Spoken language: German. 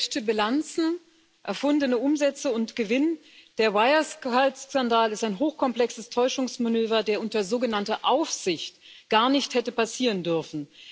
Gefälschte Bilanzen, erfundene Umsätze und Gewinn Der Wirecard Skandal ist ein hochkomplexes Täuschungsmanöver, der unter sogenannter Aufsicht gar nicht hätte passieren dürfen.